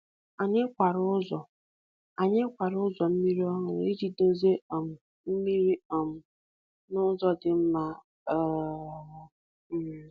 Anyị kwara ụzọ Anyị kwara ụzọ mmiri ọhụrụ iji duzie um mmiri um n’ụzọ dị mma. um